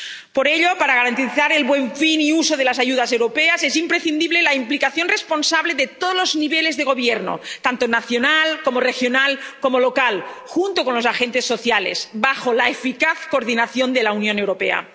Por ello, para garantizar el buen fin y uso de las ayudas europeas, es imprescindible la implicación responsable de todos los niveles de gobierno, tanto nacional como regional, como local, junto con los agentes sociales, bajo la eficaz coordinación de la Unión Europea.